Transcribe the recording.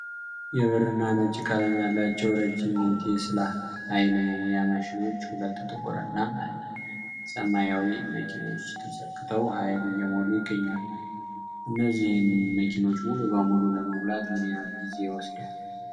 የብርና ነጭ ቀለም ያላቸው ረጅም የቴስላ (Tesla) የኃይል መሙያ ማሽኖች፣ ሁለት ጥቁር እና አንድ ሰማያዊ መኪኖች ተሰክተው ኃይል እየሞሉ ይገኛሉ። እነዚህን መኪኖች ሙሉ በሙሉ ለመሙላት ምን ያህል ጊዜ ይወስዳል?